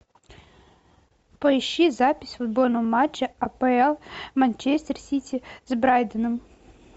поищи запись футбольного матча апл манчестер сити с брайтоном